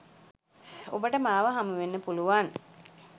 ඔබට මාව හමුවෙන්න පුළුවන්.